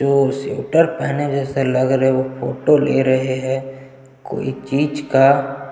जो स्वीटर पेहने जैसे लग रहै है वो फोटो ले रहै है कोई चीज का --